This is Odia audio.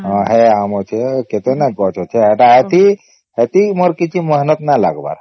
ହଁ ସେଇ ଆମ ଅଛେ କେତେ ଆମ ଅଛି ହେ କେତେ ନାଇଁ ଅଛି ହେଟା ଏଠି ମୋର କିଛି ମେହନତ ନାଇଁ ଲାଗିବାର